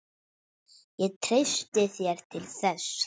Ég treysti þér til þess.